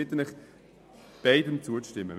Ich bitte Sie, beiden Anträgen zuzustimmen.